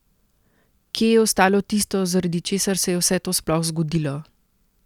Kje je ostalo tisto, zaradi česar se je vse to sploh zgodilo?